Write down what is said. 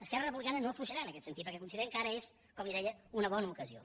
esquerra republicana no afluixarà en aquest sentit perquè considerem que ara és com li deia una bona ocasió